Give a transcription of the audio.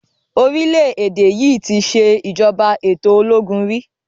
Orile Ede yí ti ṣe ìjọba ètò ológun rí.